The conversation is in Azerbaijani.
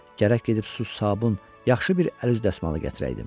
Gərək gedib su, sabun, yaxşı bir əl-üz dəsmalı gətirəydim.